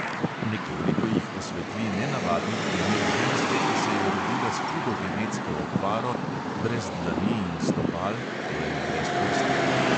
Nekoliko jih osvetli nenavadni primer ženske, ki se je rodila s hudo genetsko okvaro, brez dlani in stopal, torej brez prstov.